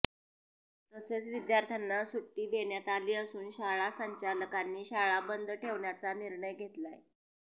तसेच विद्यार्थ्यांना सुट्टी देण्यात आली असून शाळा संचालकांनी शाळा बंद ठेवण्याचा निर्णय घेतलाय